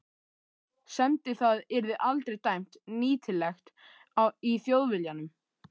semdi það yrði aldrei dæmt nýtilegt í Þjóðviljanum.